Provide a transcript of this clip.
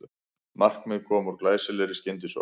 Markið kom úr glæsilegri skyndisókn